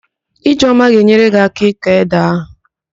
Ijeoma ga-enyere gị áká ịkọ édè ahụ